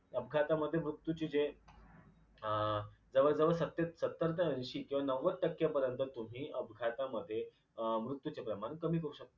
अपघातामध्ये मृत्यूची जे अं जवळ जवळ सते सत्तर ते ऐंशी किंवा नव्वद टक्क्यापर्यंत तुम्ही अपघातामध्ये अ मृयूचे प्रमाण कमी करू शकता.